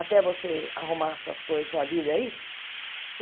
Até você arrumar suas coisas, a sua vida aí?